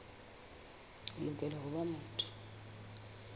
o lokela ho ba motho